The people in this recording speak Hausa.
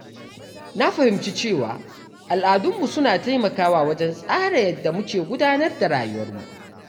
Na fahimci cewa al’adunmu suna taimakawa wajen tsara yadda muke gudanar da rayuwarmu.